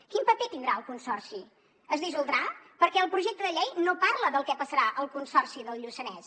quin paper tindrà el consorci es dissoldrà perquè el projecte de llei no parla del que passarà al consorci del lluçanès